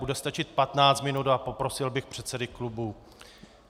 Bude stačit 15 minut a poprosil bych předsedy klubů.